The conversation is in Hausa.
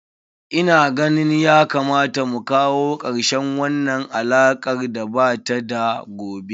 Ina ganin ya kamata mu kawo karshen wannan alakar da ba ta da gobe.